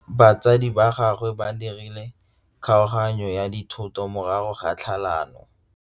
Batsadi ba gagwe ba dirile kgaoganyô ya dithoto morago ga tlhalanô.